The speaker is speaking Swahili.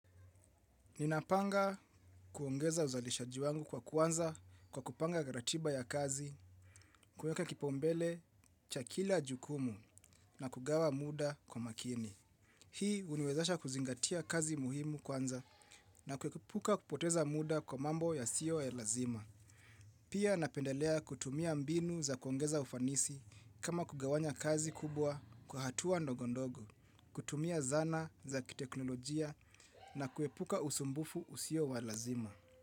Ninapanga kuongeza uzalishaji wangu kwa kwanza kwa kupanga ratiba ya kazi, kuweka kipaumbele, cha kila jukumu na kugawa muda kwa makini. Hii uniwezasha kuzingatia kazi muhimu kwanza na kuepuka kupoteza muda kwa mambo yasiyo ya lazima. Pia napendelea kutumia mbinu za kuongeza ufanisi kama kugawanya kazi kubwa kwa hatua ndogo ndogo, kutumia zana za kiteknolojia na kuepuka usumbufu usio wa lazima.